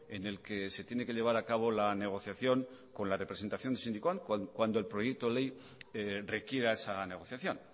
en el que se tiene que llevar a cabo la negociación con la representación sindical cuando el proyecto ley requiera esa negociación